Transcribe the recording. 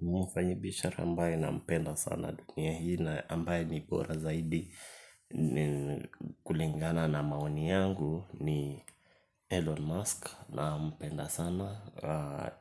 Mfanyi biashara ambaye na mpenda sana dunia hii na ambaye ni bora zaidi kulingana na maoni yangu ni Elon Musk na mpenda sana.